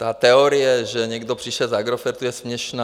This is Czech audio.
Ta teorie, že někdo přišel z Agrofertu, je směšná.